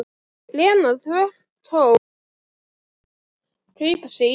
Lena þvertók líka fyrir að kaupa sér íbúð.